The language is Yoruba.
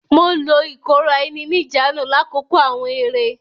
Mo lo ikora-eni-nijaanu lakoko awọn eré.